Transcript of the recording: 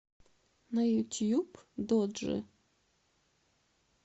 на ютьюб доджи